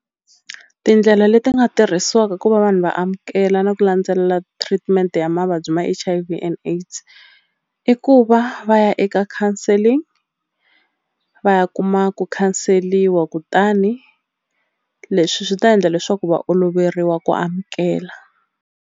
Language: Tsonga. Tindlela leti nga tirhisiwaka ku va vanhu va amukela na ku landzelela treatment ya mavabyi ma H_I_V and AIDS i ku va va ya eka counselling va ya kuma ku khanseliwa kutani leswi swi ta endla leswaku va oloveriwa ku amukela.